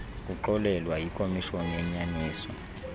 kuxolelwa yikomishoni yenyaniso